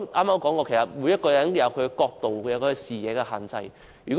我剛才也說過，每個人也有各自的角度及視野的限制。